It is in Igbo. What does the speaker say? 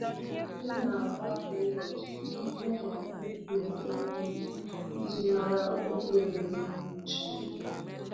M na-agbakọ ụbọchị site na ịkụ ihe ubi iji mara oge owuwe kacha mma.